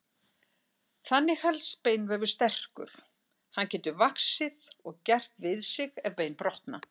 Þannig helst beinvefur sterkur, hann getur vaxið og gert við sig ef bein brotna.